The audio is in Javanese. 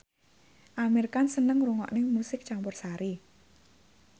Amir Khan seneng ngrungokne musik campursari